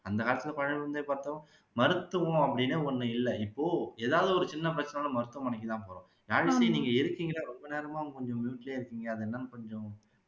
அந்த காலத்துல மருத்துவம்னு ஒண்ணு இல்ல இப்போ எதாவது ஒரு சின்ன பிரச்சனைனாகூட மருத்துவமனைக்கு தான் போறோம் யாழிசை நீங்க இருக்கீங்க ரொம்ப நேரமா mute லயே இருக்கீங்க அது என்னன்னு கொஞ்சம் சொல்லுங்க